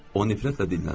O nifrətlə dinləndi.